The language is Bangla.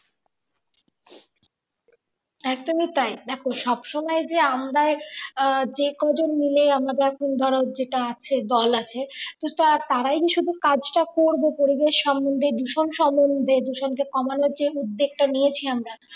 একদমই তাই দেখো সব সময় যে আমরাই যে কজন মিলে আমাদের এখন ধরো যেটা আছে দল আছে তো তারা তারাই যে শুধু কাজটা করবে পরিবেশ সম্বন্ধে দূষণ সম্বন্ধে দূষণকে কমানোর যে উদ্যোগটা নিয়েছে আমরা